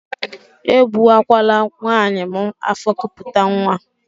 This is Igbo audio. E gbuwakwala nwaanyị m afọ kupute nwa!